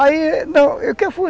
Aí... Não,